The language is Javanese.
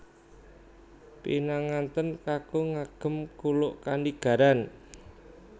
Pinangantèn kakung ngagem kuluk kanigaran